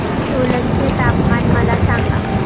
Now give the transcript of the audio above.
सोलन चे तापमान मला सांगा